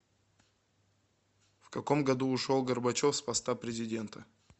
в каком году ушел горбачев с поста президента